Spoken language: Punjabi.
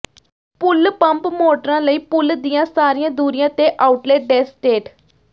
ਪੂਲ ਪੰਪ ਮੋਟਰਾਂ ਲਈ ਪੂਲ ਦੀਆਂ ਸਾਰੀਆਂ ਦੂਰੀਆਂ ਤੇ ਆਊਟਲੇਟ ਡੈੱਸਟੇਟ